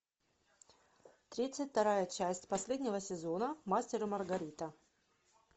тридцать вторая часть последнего сезона мастер и маргарита